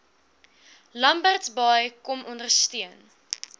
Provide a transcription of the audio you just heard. lambertsbaai kom ondersteun